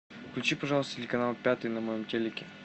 включи пожалуйста телеканал пятый на моем телеке